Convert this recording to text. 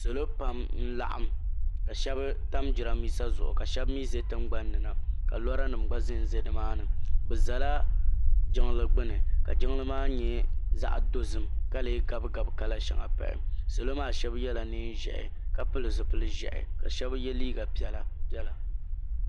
Salɔ pam n laɣim ka shebi tam jiranbisa zuɣu kashabi mi ʒɛ tiŋgbani na ka lɔranim gba ʒanʒɛnimaani. bɛ zala jinligbuni ka jinlimaa nyɛ zaɣidozima ka gabigabi kala shaŋa n pahi pahi. salɔmaa yela neeʒɛɛhi kapilizipil ʒɛhila kashebi ye liiga piɛla piɛla